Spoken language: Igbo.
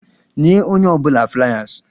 Nye onye ọ bụla fliers!